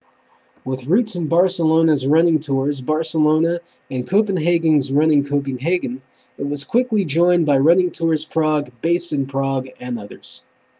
with roots in barcelona's running tours barcelona and copenhagen's running copenhagen it was quickly joined by running tours prague based in prague and others